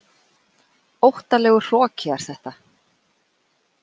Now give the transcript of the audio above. Óttalegur hroki er þetta.